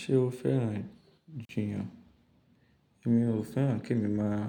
Ṣé o fẹ́ràn jiyàn? Èmi ò fẹ́ràn kí èmi máa